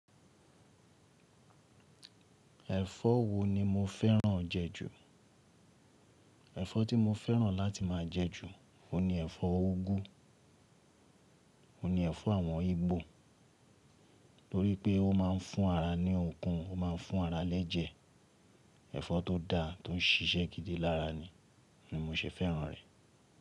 Ẹ̀fọ́ wo ni mo fẹ́ràn jẹ ju? Ẹ̀fọ́ tí mo fẹ́ràn láti máa jẹ ju, òun ni ẹ̀fọ́ úgú, òun ni ẹ̀fọ́ àwọn Ìgbò, tórí pé ó máa ń fún ara ní okun, ó máa ń fún ara lẹ́jẹ̀, ẹ̀fọ́ tó dá, tó ń ṣiṣẹ́ gidi lára ni, ni mo ṣe fẹ́ràn rẹ̀.